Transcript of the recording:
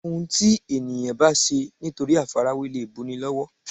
Òun ti èèyàn bá ṣe nítorí àfarawé lè bu ni lọ́wọ́